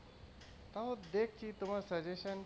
তাও দেখছি তোমার suggestion